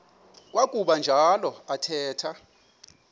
kwakuba njalo athetha